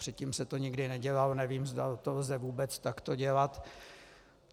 Předtím se to nikdy nedělalo, nevím, zda to lze vůbec takto dělat.